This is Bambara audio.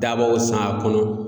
Dabaw san a kɔnɔ